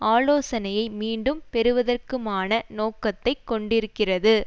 ஆலோசனையை மீண்டும் பெறுவதற்குமான நோக்கத்தை கொண்டிருக்கிறது